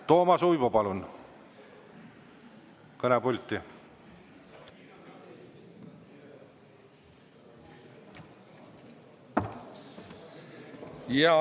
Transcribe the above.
Toomas Uibo, palun kõnepulti!